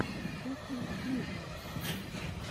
кухня наизнанку